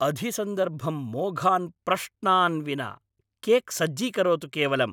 अधिसन्दर्भं मोघान् प्रश्नान् विना केक् सज्जीकरोतु केवलम्।